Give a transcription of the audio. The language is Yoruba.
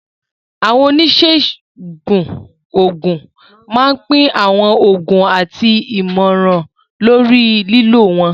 Àwọn oníṣègùn òògùn máa ń pín àwọn oògùn àti ìmọ̀ràn lórí lílò wọn.